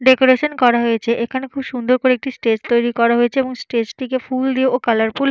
Decoration করা হয়েছে। এখানে খুব সুন্দর করে একটি স্টেজ তৈরি করা হয়েছে। এবং স্টেজ - টিকে ফুল দিয়ে ও কালারফুল --